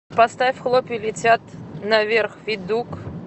сбер поставь хлопья летят наверх федук